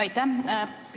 Aitäh!